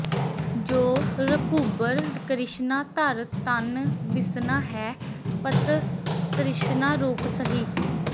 ਜੋ ਰਘੁਬਰ ਕ੍ਰਿਸ਼ਨਾ ਧਰਿ ਤਨ ਬਿਸ਼ਨਾ ਹੈ ਪਤਿ ਤ੍ਰਿਸ਼ਨਾ ਰੂਪ ਸਹੀ